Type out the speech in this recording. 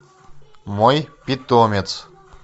мой питомец